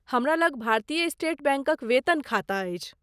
हमरा लग भारतीय स्टेट बैंकक वेतन खाता अछि।